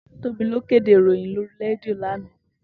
Tobi ló kédé iróyin lóri rédió làná